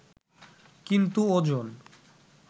কিন্তু ওজন